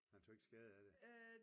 Han tog ikke skade af det?